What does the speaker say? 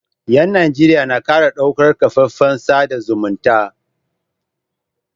Yan Najeriya na kara ɗaukar kafafen sada zumunta